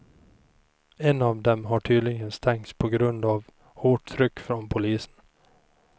En av dem har tydligen stängts på grund av hårt tryck från polisen.